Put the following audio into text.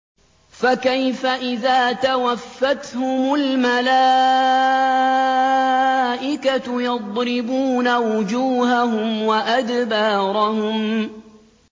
فَكَيْفَ إِذَا تَوَفَّتْهُمُ الْمَلَائِكَةُ يَضْرِبُونَ وُجُوهَهُمْ وَأَدْبَارَهُمْ